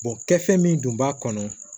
kɛfɛn min dun b'a kɔnɔ